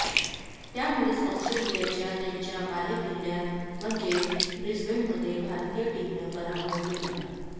त्यामुळेच ऑस्ट्रेलियाचा त्यांच्या बालेकिल्ल्यात म्हणजेच ब्रिस्बेनमध्ये भारतीय टीमनं पराभव केला